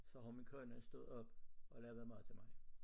Så har min kone stået op og lavet mad til mig